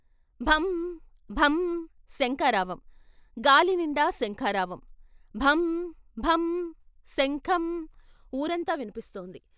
భం భం శంఖారావం గాలినిండా శంఖారావం భం భం శంఖం వూరంతా విన్పిస్తోంది.